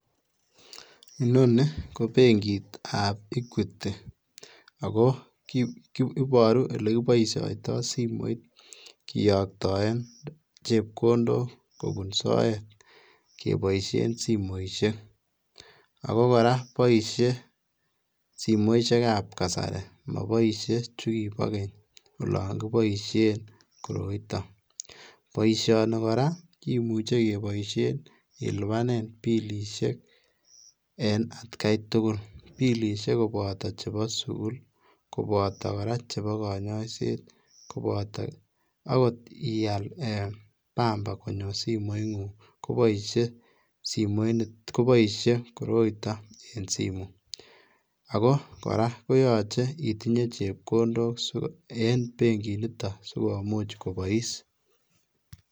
Inoni ko benkitab Equity ako iboru olekiboisiotoo simoit kiyoktoen chepkondok kobun soet keboisien simoisiek ,ako koraa boisie simoisiekab kasari moboisie chukibo keny olon kiboisien koroiton , boisioni koraa kimuche keboisien ilibanen bilisiek en atkai tugul bilisiek koboto chebo sugul ,koboto koraa cheboo konyoiset, koboto okot ial bamba konyo simoingung koboisie koroito en simengu, ako koraa koyoche itinyee chepkondok en benkiniton sikomuch kobois.